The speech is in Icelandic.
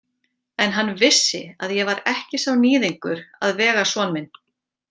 En hann vissi að ég var ekki sá níðingur að vega son minn.